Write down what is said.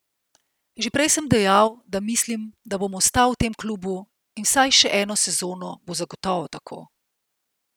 Že prej sem dejal, da mislim, da bom ostal v tem klubu, in vsaj še eno sezono bo zagotovo tako.